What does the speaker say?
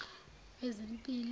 wezempilo